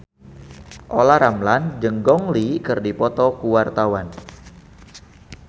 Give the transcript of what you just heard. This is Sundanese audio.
Olla Ramlan jeung Gong Li keur dipoto ku wartawan